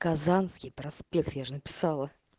казанский проспект я же написала